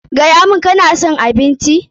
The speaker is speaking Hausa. Gaya mun, ka na son abincin?